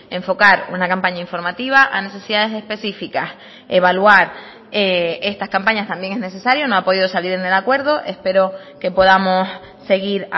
enfocar una campaña informativa a necesidades específicas evaluar estas campañas también es necesario no ha podido salir en el acuerdo espero que podamos seguir